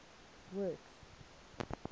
works